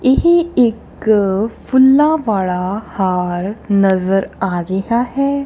ਏਹ ਇੱਕ ਫੁੱਲਾਂ ਵਾਲਾ ਹਾਰ ਨਜ਼ਰ ਆ ਰਿਹਾ ਹੈ।